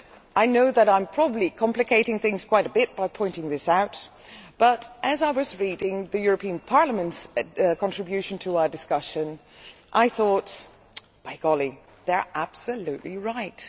I know that I am probably complicating things quite a bit by pointing this out, but as I was reading the European Parliament's contribution to our discussion I thought, by golly, they are absolutely right.'